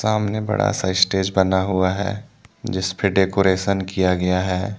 सामने बड़ा सा स्टेज बना हुआ है जिस पे डेकोरेसन किया गया है।